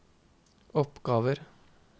oppgaver